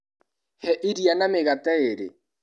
He iria na mĩgate ĩrĩ.